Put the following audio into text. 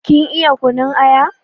Kin iya kunun aya?